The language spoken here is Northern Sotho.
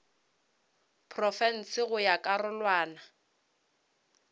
profense go ya ka karolwana